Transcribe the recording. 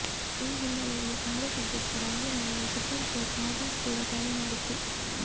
ಈ ಹಿನ್ನೆಲೆಯಲ್ಲಿ ಕಾಂಗ್ರೆಸ್ ಅಧ್ಯಕ್ಷ ರಾಹುಲ್ ಗಾಂಧಿಗೆ ಸುಪ್ರೀಂಕೋರ್ಟ್ ನೋಟಿಸ್ ಕೂಡ ಜಾರಿ ಮಾಡಿತ್ತು